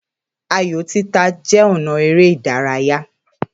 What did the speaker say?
Ààyò títà jẹ́ ọ̀nà eré ìdárayá